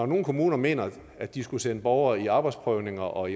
nogle kommuner mener at de skal sende borgerne i arbejdsprøvning og